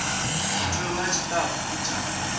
u tholiwa ha tshitafu tsha